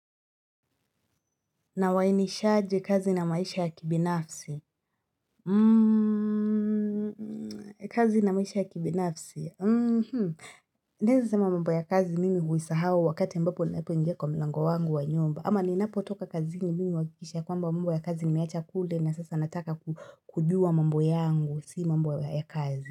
Na wainishaje kazi na maisha ya kibinafsi? Mmmmmmm kazi na maisha ya kibinafsi mmmmmmh. Naeza sema mambo ya kazi mimi huisahau wakati ambapo ninapoingia kwa mlango wangu wa nyumba. Ama ninapotoka kazini mimi huhakikisha kwamba mmbo ya kazi nimeiacha kule na sasa nataka ku kujua mambo ya kazi.